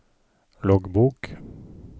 loggbok